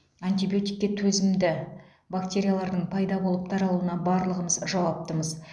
антибиотикке төзімді бактериялардың пайда болып таралуына барлығымыз жауаптымыз